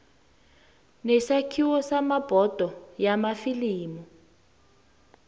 nesakhiwo sebhodo yamafilimu